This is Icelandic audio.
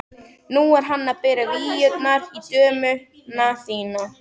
Nú er hann að bera víurnar í dömuna þína!